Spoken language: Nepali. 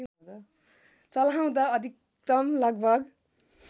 चलाउँदा अधिकतम लगभग